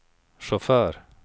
chaufför